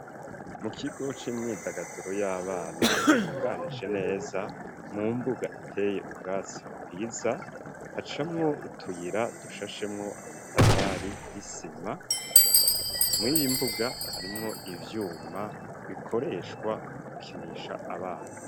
Mu kigo c'imyidagaduro y'abana gitunganije neza mu mbuga iteye ubwatsi bwiza haciyemwo utuyira dushashemwo amatafari y'isima muriyi mbuga harimwo ivyuma bikoreshwa mu gukinisha abana.